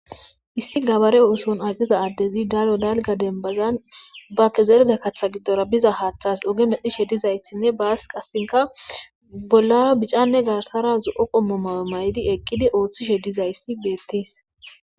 issi gabare ooson aqiza addezi dalo dalga dembazan bakke zerde kaththa giddora biza haaththas oge medhishe dizayssinne baas qassinka bollara bicanne garsara zu7o qommo mawe may7di eqqidi ooththishe dizayssi beettis